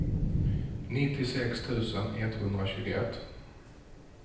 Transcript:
nittiosex tusen etthundratjugoett